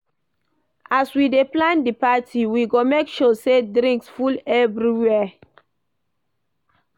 As we dey plan di party, we go make sure sey drinks full everywhere.